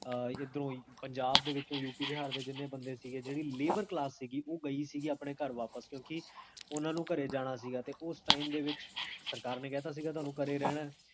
ਪੰਜਾਬ ਦੇ ਵਿੱਚ U P, Bihar ਦੇ ਜਿੰਨੇ ਬੰਦੇ ਸੀਗੇ, ਜੇਹੜੀ labour ਕਲਾਸ ਸੀਗੀ, ਓਹ ਗਈ ਸੀਗੀ ਆਪਣੇ ਘਰੇ ਵਾਪਸ, ਕਿਓਂਕਿ ਓਨਾ ਨੂ ਜਾਣਾ ਸੀਗਾ ਘਰੇ ਵਾਪਸ, ਕਿਓਂਕਿ ਉਸ time ਦੇ ਵਿੱਚ ਸਰਕਾਰ ਨੇ ਕਹ ਤਾ ਸੀਗਾ ਤੋਨੁ ਘਰੇ ਰਹਨੇ